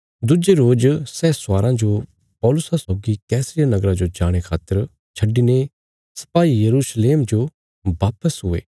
दुज्जे रोज सै स्वाराँ जो पौलुसा सौगी कैसरिया नगरा जो जाणे खातर छड्डिने सपाई यरूशलेम जो वापस हुये